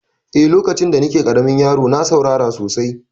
Eh, lokacin da ni ke ƙaramin yaro na saurara sosai